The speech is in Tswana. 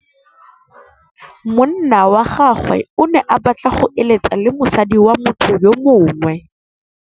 Monna wa gagwe o ne a batla go êlêtsa le mosadi wa motho yo mongwe.